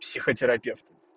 психотерапевт